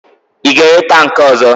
Ị ga-ere tankị ọ̀zọ́?